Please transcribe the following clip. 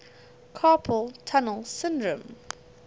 carpal tunnel syndrome